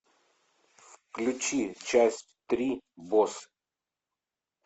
включи часть три босс